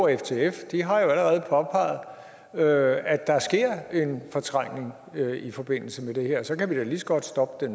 ftf har jo allerede påpeget at at der sker en fortrængning i forbindelse med det her og så kan vi da lige så godt stoppe